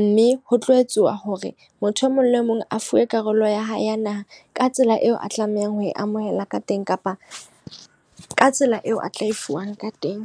Mme ho tlo etsuwa hore motho e mong le mong a fuwe karolo ya hae ya naha ka tsela eo a tlamehang ho e amohela ka teng, kapa ka tsela eo a tla e fuwang ka teng.